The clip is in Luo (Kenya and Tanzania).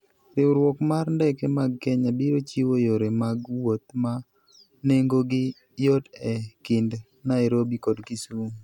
Riwruok mar ndeke mag Kenya biro chiwo yore mag wuoth ma nengogi yot e kind Nairobi kod Kisumu.